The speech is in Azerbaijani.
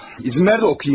İzin ver də oxuyum.